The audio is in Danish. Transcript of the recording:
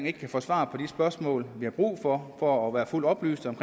ikke kan få svar på de spørgsmål vi har brug for for at være fuldt oplyste om